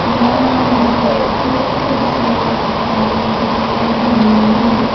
यहां मुझे कुछ कुर्सियां दिखाई दे रही है।